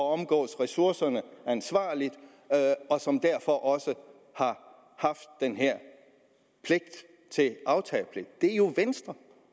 omgås ressourcerne ansvarligt og som derfor også har haft den her aftagepligt er jo venstre